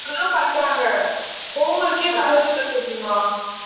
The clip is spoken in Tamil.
அப்படித்தான் பண்றாங்க. homework ஏ தர்றதில்லை கோக்கிமா